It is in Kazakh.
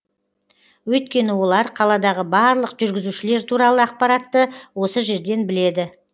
өйткені олар қаладағы барлық жүргізушілер туралы ақпаратты осы жерден біледі